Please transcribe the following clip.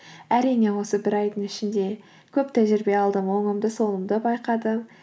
әрине осы бір айдың ішінде көп тәжірибе алдым оңымды солымды байқадым